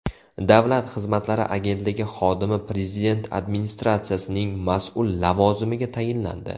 Davlat xizmatlari agentligi xodimi Prezident administratsiyasining mas’ul lavozimiga tayinlandi.